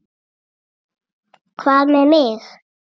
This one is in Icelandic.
Hvað með mig?